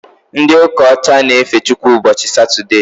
Ndị ụka ọcha na efe Chukwu ụbọchị Satode